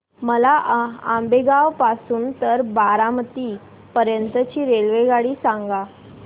मला आंबेगाव पासून तर बारामती पर्यंत ची रेल्वेगाडी सांगा